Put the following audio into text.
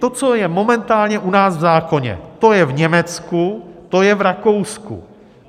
To, co je momentálně u nás v zákoně, to je v Německu, to je v Rakousku.